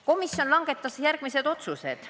Komisjon langetas järgmised otsused.